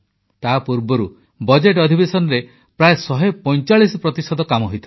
ତାପୂର୍ବରୁ budget ଅଧିବେଶନରେ ପ୍ରାୟ 145 ପ୍ରତିଶତ କାମ ହୋଇଥିଲା